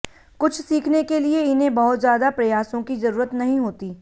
कुछ सीखने के लिए इन्हें बहुत ज्यादा प्रयासों की जरूरत नहीं होती